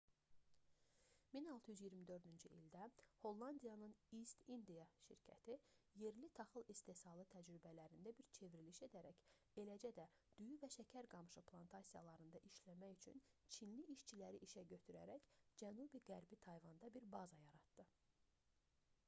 1624-cü ildə hollandiyanın east india şirkəti yerli taxıl istehsalı təcrübələrində bir çevriliş edərək eləcə də düyü və şəkər qamışı plantasiyalarında işləmək üçün çinli işçiləri işə götürərək cənubi-qərbi tayvanda bir baza yaratdı